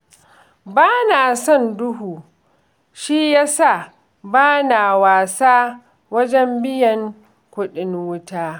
Ba na son duhu, shi ya sa ba na wasa wajen biyan kuɗin wuta